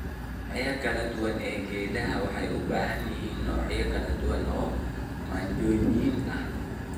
Noocyada kala duwan ee geedaha waxay u baahan yihiin noocyo kala duwan oo manjooyin ah.